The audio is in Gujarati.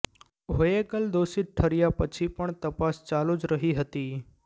હોએગલ દોષિત ઠર્યા પછી પણ તપાસ ચાલુ જ રહી હતી